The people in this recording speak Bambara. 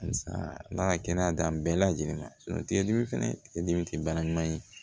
Ala kɛnɛyada bɛɛ lajɛlen ma tigɛ dimi fɛnɛ tigɛ dimi tɛ baara ɲuman ye